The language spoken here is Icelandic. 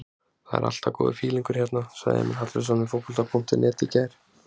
Það er alltaf góður fílingur hérna, sagði Emil Hallfreðsson við Fótbolta.net í gær.